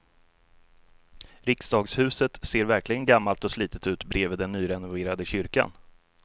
Riksdagshuset ser verkligen gammalt och slitet ut bredvid den nyrenoverade kyrkan.